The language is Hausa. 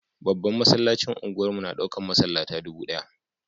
Babban masallacin unguwar mu na daukan masallata dubu daya.